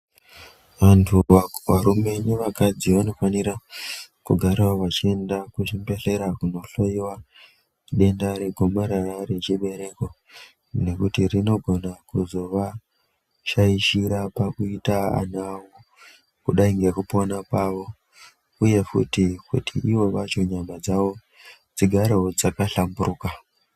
Antu arume nevakadzi vanofanira kugarawo vachienda kuchibhedhlera kunohloiwa denda regomarara rechibereko nekuti rinogona kuzo vashaishira pakuita ana awo kudai ngekupona kwawo uye futi kuti iwo vacho nyama dzawo dzigarewo dzaka hlamburuka